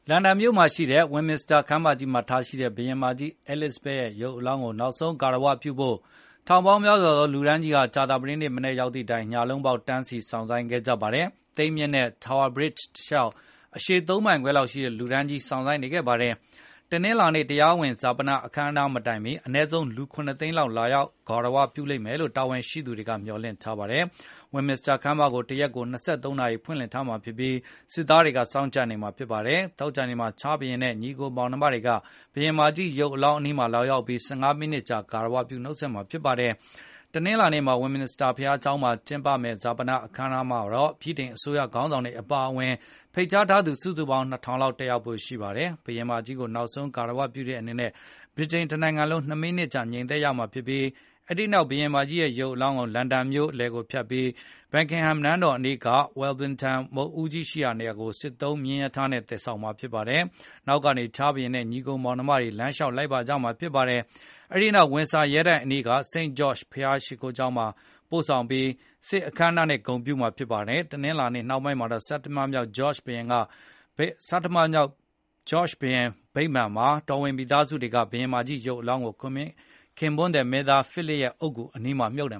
လန်ဒန်မြို့မှာရှိတဲ့ Westminster ခမ်းမမှာ ထားရှိတဲ့ ဘုရင်မကြီး Elizabeth ရဲ့ရုပ်အလောင်းကို နောက်ဆုံး ဂါရဝပြုဖို့ ထောင်ပေါင်းများစွာသော လူတန်းကြီးဟာ ကြာသပတေးနေ့မနက် ရောက်သည့်တိုင် ညလုံးပေါက် တန်းစီ စောင့်ဆိုင်းခဲ့ ကြပါတယ်။ သိမ်းမြစ်ကမ်းနဲ့ Tower Bridge တလျှောက် အရှည် ၃ မိုင်ခွဲလောက်ရှိတဲ့ လူတန်းကြီး စောင့်ဆိုင်းနေခဲ့တာပါ။ တနင်္လာနေ့ တရားဝင် ဈာပန အခမ်းအနား မတိုင်မီ အနည်းဆုံး လူ ၇ သိန်းခွဲလောက် လာရောက် ဂါရဝပြုလိမ့်မယ်လို တာဝန်ရှိသူတွေက မျှော်လင့်ထားပါတယ်။ Westminster ခမ်းမကို တရက်ကို ၂၃ နာရီ ဖွင့်လှစ်ထားမှာဖြစ်ပြီး၊ စစ်သားတွေက စောင့်ကြပ်နေမှာဖြစ်ပါတယ်။ သောကြာနေ့မှာ ချားလ်စ်ဘုရင်နဲ့ ညီအကိုမောင်နှမတွေက ဘုရင်မကြီး ရုပ်အလောင်းအနီးမှာ လာရောက်ပြီး ၁၅ မိနစ်ကြာ ဂါရဝပြု နှုတ်ဆက်မှာဖြစ်ပါတယ်။ တနင်္လာနေ့ Westminster ဘုရားကျောင်းမှာ ကျင်းပမယ့် ဈာပန အခမ်းအနားမှာတော့ ဗြိတိန်အစိုးရ ခေါင်းဆောင်တွေ အပါအဝင် ဖိတ်ကြားထားသူ စုစုပေါင်း လူ ၂,၀၀၀ လောက် တက်ရောက်ဖို့ ရှိပါတယ်။ ဘုရင်မကြီးကို နောက်ဆုံး ဂါရဝပြုတဲ့အနေနဲ့ ဗြိတိန်တနိုင်ငံလုံး ၂ မိနစ် ငြိမ်သက်ရမှာဖြစ်ပြီး အဲဒီနောက် ဘုရင်မကြီးရဲ့ ရုပ်အလောင်းကို လန်ဒန်မြို့လယ်ကို ဖြတ်ပြီး Buckingham နန်းတော်အနီးက Wellington မုဒ်ဦးကြီး ရှိရာနေရာကို စစ်သုံးမြင်းရထားနဲ့ သယ်ဆောင်မှာ ဖြစ်ပါတယ်။ နောက်ကနေ ချားလ်စ်ဘုရင်နဲ့ ညီအကို မောင်နှမတွေက လမ်းလျှောက် လိုက်ပါကြမှာဖြစ်ပါတယ်။ အဲဒီနောက် ဝင်ဆာ ရဲတိုက်အနီးက St George’s ဘုရားကျောင်ကို ပို့ဆောင်ပြီး စစ်ရေးပြ အခမ်းအနားနဲ့ ဂုဏ်ပြုမှာ ဖြစ်ပါတယ်။ တနင်္လာနေ့ နှောင်းပိုင်းမှာတော့ ဆဌမမြောက် George ဘုရင်အမှတ်တရ ဗိမာန်မှာ တော်ဝင်မိသားစုတွေက ဘုရင်မကြီး ရုပ်အလောင်းကို ခင်ပွန်းသည် မင်းသား Philip အုပ်ဂူနားမှာ မြှုပ်န